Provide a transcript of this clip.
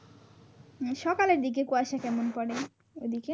উম সকালের দিকে কুয়াশা কেমন পরে ওদিকে?